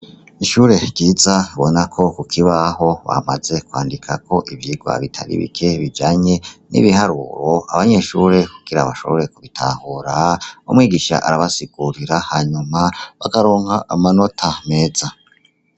Ishure ryiza ubona ko kukibaho bamaze kwandikako ivyigwa bitari bike bijanye n' ibiharuro abanyeshure kugira bashobore kubitahura umwigisha arabasigurira hanyuma bakaronka amanota meza.